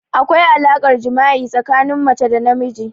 Akwai alaƙar jima'i tsakanin mace da namiji.